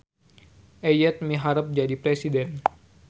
Eyet miharep jadi presiden